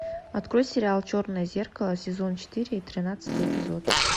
открой сериал черное зеркало сезон четыре тринадцатый эпизод